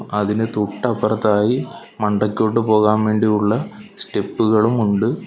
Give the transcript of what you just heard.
അതിനു തൊട്ടപ്പുറത്തായി മണ്ടക്കോട്ട് പോകാൻ വേണ്ടിയുള്ള സ്റ്റെപ്പുകളും ഉണ്ട്.